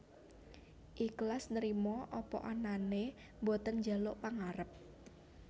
Iklas Nrimo apa anane boten njaluk pangarep